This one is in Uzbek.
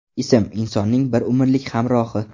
Ism – insonning bir umrlik hamrohi.